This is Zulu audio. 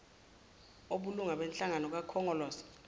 obulunga benhlangano kakhongolose